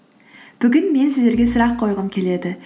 бүгін мен сіздерге сұрақ қойғым келеді